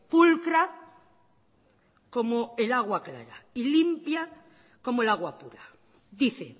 pulcra como el agua clara y limpia como el agua pura dice